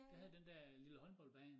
Der havde den dér lille håndboldbane